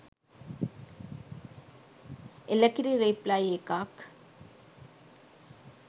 එළකිරි රිප්ලයි එකක්